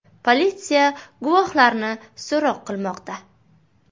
Politsiya guvohlarni so‘roq qilmoqda.